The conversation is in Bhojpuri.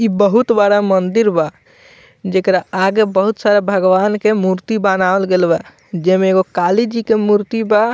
इ बहुत बड़ा मंदिर बा जेकरा आगे बहुत सारा भगवान के मूर्ति बनावल गेल बा जेमें एगो काली जी के मूर्ति बा।